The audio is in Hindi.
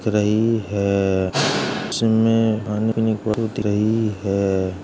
रही है। इसमें रही है।